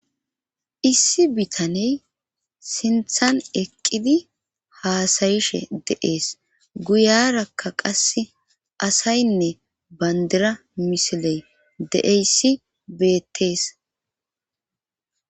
Issi bitaney sinthan eqqidi haasayishe de7ees guyarakka qasse asaynne bandira misiley deeyssi beettees.